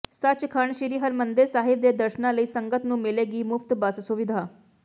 ਸੱਚਖੰਡ ਸ੍ਰੀ ਹਰਿਮੰਦਰ ਸਾਹਿਬ ਦੇ ਦਰਸ਼ਨਾਂ ਲਈ ਸੰਗਤ ਨੂੰ ਮਿਲੇਗੀ ਮੁਫਤ ਬੱਸ ਸੁਵਿਧਾ